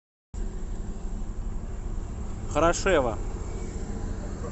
хорошева